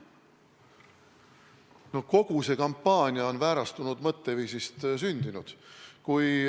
No kogu see kampaania on väärastunud mõtteviisist sündinud.